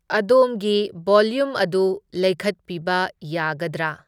ꯑꯗꯣꯝꯒꯤ ꯕꯣꯂ꯭ꯌꯨꯝ ꯑꯗꯨ ꯂꯩꯈꯠꯄꯤꯕ ꯌꯥꯒꯗ꯭ꯔꯥ?